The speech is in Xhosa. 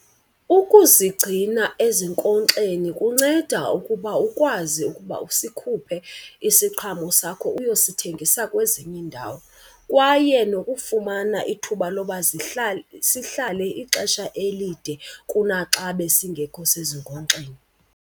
Ukuzigcina ezinkonkxeni kunceda ukuba ukwazi ukuba usikhuphe isiqhamo sakho uyosithengisa kwezinye iindawo. Kwaye nokufumana ithuba loba sihlale ixesha elide kunaxa besingekho sezinkonkxeni.